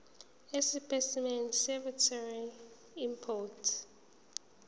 esipesimeni seveterinary import